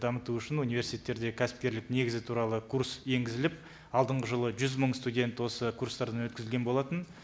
дамыту үшін университеттерде кәсіпкерлік негізі туралы курс енгізіліп алдынғы жылы жүз мың студент осы курстардан өткізілген болатын